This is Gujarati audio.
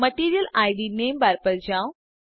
મટીરિયલ ઇડ નામે બાર પર જાઓ